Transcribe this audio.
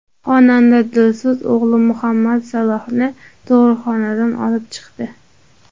Xonanda Dilso‘z o‘g‘li Muhammad Salohni tug‘uruqxonadan olib chiqdi .